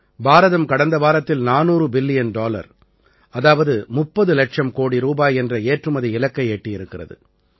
பாரதம் கடந்த வாரத்தில் 400 billion dollar அதாவது 30 இலட்சம் கோடி ரூபாய் என்ற ஏற்றுமதி இலக்கை எட்டியிருக்கிறது